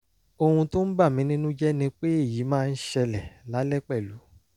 ohun tó ń bà mí nínú jẹ́ ni pé èyí máa ń ṣẹlẹ̀ lálẹ́ pẹ̀lú